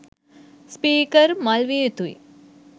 Speaker මල් විය යුතුයි.